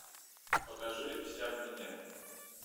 покажи вся в меня